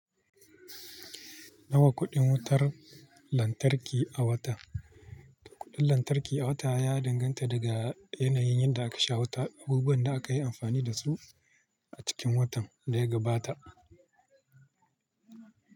Nawa kuɗin wutar lantarki a wata? Kuɗin lantarki a wata ya danganta daga yanayin yadda aka sha wuta, abubuwan da aka yi amfani da su a cikin watan da ya gabata.